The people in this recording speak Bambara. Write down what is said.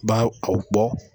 B'a a bɔ